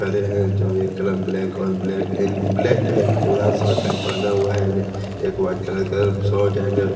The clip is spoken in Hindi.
हरे हैं जो ये कलर ब्लैक और ब्लैक इन ब्लैक ब्लैक पूरा शॉर्ट पहना हुआ है इनने एक वाइट कलर का शॉर्ट एन्ड --